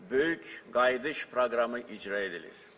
Böyük qayıdış proqramı icra edilir.